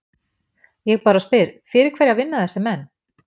Ég bara spyr, fyrir hverja vinna þessir menn?